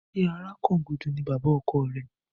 Ṣé Àràkangúdù ni bàbá ọkọ rẹ?